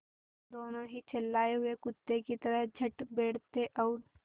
दोनों ही झल्लाये हुए कुत्ते की तरह चढ़ बैठते और